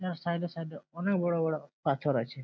এর সাইড -এ সাইড -এ অনেক বড় বড় পাথর আছে।